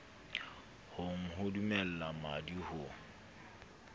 hong ho dumella mmadi ho